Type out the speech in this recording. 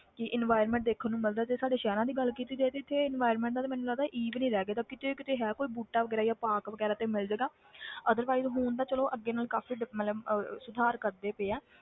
ਕਿ environment ਦੇਖਣ ਨੂੰ ਮਿਲਦਾ ਤੇ ਸਾਡੇ ਸ਼ਹਿਰਾਂ ਦੀ ਗੱਲ ਕੀਤੀ ਜਾਏ ਤੇ ਇੱਥੇ environment ਦਾ ਤੇ ਮੈਨੂੰ ਲੱਗਦਾ e ਵੀ ਨੀ ਰਹਿ ਗਏ ਦਾ ਕਿਤੇ ਕਿਤੇ ਹੈ ਕੋਈ ਬੂਟਾ ਵਗ਼ੈਰਾ ਜਾਂ park ਵਗ਼ੈਰਾ ਤੇ ਮਿਲ ਜਾਏਗਾ otherwise ਹੁਣ ਤਾਂ ਚਲੋ ਅੱਗੇ ਨਾਲੋਂ ਕਾਫ਼ੀ ਡਿਪ~ ਮਤਲਬ ਅਹ ਸੁਧਾਰ ਕਰਦੇ ਪਏ ਹੈ।